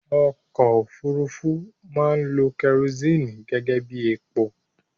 Ọkọ òfúrufú máa ń lo kerosini gẹ́gẹ́bí epo